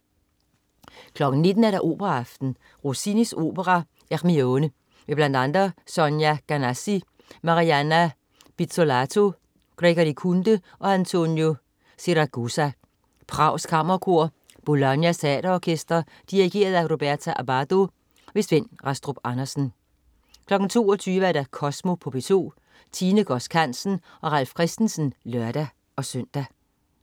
19.00 Operaaften. Rossinis opera Ermione. Med bl.a. Sonia Ganassi, Marianna Pizzolato, Gregory Kunde og Antonio Siragusa. Prags Kammerkor. Bolognas Teater Orkester. Dirigent: Roberto Abbado. Svend Rastrup Andersen 22.00 Kosmo på P2. Tine Godsk Hansen og Ralf Christensen (lør-søn)